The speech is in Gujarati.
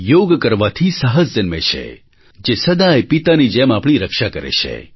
યોગ કરવાથી સાહસ જન્મે છે જે સદાય પિતાની જેમ આપણી રક્ષા કરે છે